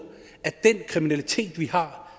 den kriminalitet vi har